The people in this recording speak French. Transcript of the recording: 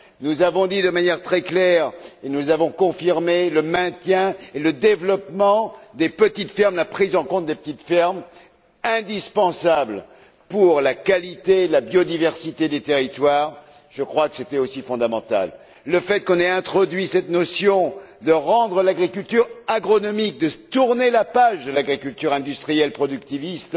Nous avons établi de manière très claire et nous avons confirmé le maintien et le développement des petites fermes, la prise en compte des petites fermes, indispensables pour la qualité et la biodiversité des territoires. Je crois que c'était aussi fondamental. Le fait qu'on ait introduit cette notion de rendre l'agriculture agronomique, de tourner la page de l'agriculture industrielle productiviste,